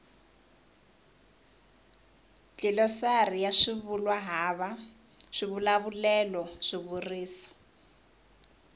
dlilosari ya swivulwahava swivulavulelo swivuriso